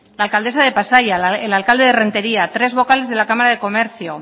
la alcaldesa de pasaia el alcalde de rentería tres vocales de la cámara de comercio